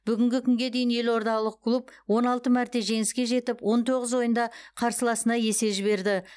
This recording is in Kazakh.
бүгінгі күнге дейін елордалық клуб он алты мәрте жеңіске жетіп он тоғыз ойында қарсыласына есе жіберді